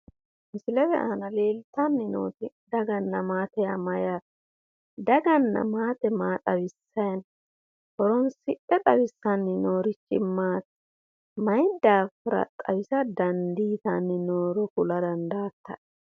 Misilete aana leeltanni nooti daganna maate yaa mayyaate? Daganna maate massitayi no? Horinsidhe xawissanni noori maati? Mayi daafira xawisa dandiitanni nooro kula dandaattae?